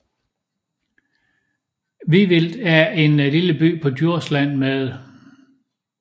Vivild er en lille by på Djursland med